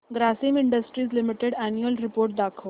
Grasim industries limited annual report दाखव